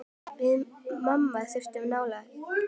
Við mamma þurftum nálægð.